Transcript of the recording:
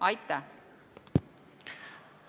Aitäh!